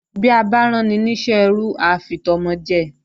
Bí a bá ráni ní iṣẹ́ ẹrú á fi tọmọ jẹ